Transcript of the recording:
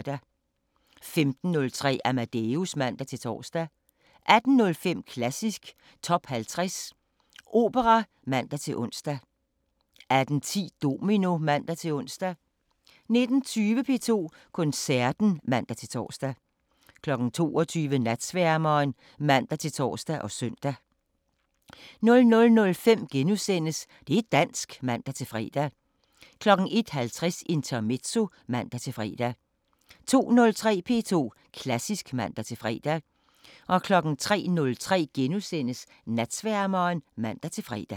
15:03: Amadeus (man-tor) 18:05: Klassisk Top 50 Opera (man-ons) 18:10: Domino (man-ons) 19:20: P2 Koncerten (man-tor) 22:00: Natsværmeren (man-tor og søn) 00:05: Det' dansk *(man-fre) 01:50: Intermezzo (man-fre) 02:03: P2 Klassisk (man-fre) 03:03: Natsværmeren *(man-fre)